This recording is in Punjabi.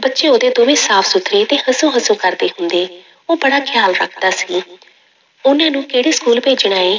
ਬੱਚੇ ਉਹਦੇ ਦੋਵੇਂ ਸਾਫ਼ ਸੁੱਥਰੇ ਤੇ ਹੰਸੂ ਹੰਸੂ ਕਰਦੇ ਹੁੰਦੇ, ਉਹ ਬੜਾ ਖਿਆਲ ਰੱਖਦਾ ਸੀ, ਉਹਨਾਂ ਨੂੰ ਕਿਹੜੇ school ਭੇਜਣਾ ਹੈ,